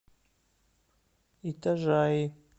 итажаи